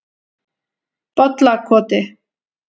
Bollakoti